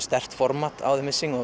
sterkt format á The missing